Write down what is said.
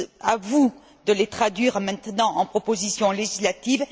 À vous de les traduire maintenant en proposition législative.